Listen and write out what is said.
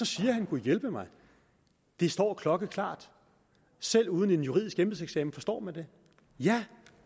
siger gudhjælpemig at det står klokkeklart og selv uden en juridisk embedseksamen forstår man det ja